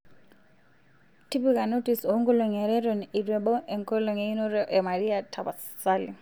tipika notis o nkolong'I are eton eitu ebau enkolong einoto e maria tapasali